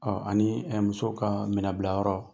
Ɔ ani muso ka minɛnbilayɔrɔ